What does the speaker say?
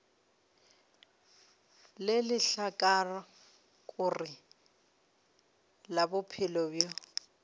le lehlakore la bophelo bjo